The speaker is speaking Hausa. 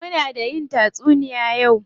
Muna da yin tatsuniya yau.